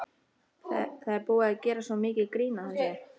Það er búið að gera svo mikið grín að þessu.